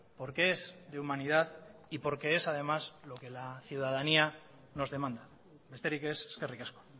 porque es de humanidad y porque es además lo que la ciudadanía nos demanda besterik ez eskerrik asko